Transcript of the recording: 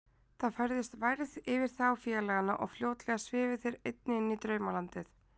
Það færðist værð yfir þá félagana og fljótlega svifu þeir einnig inní draumalandið.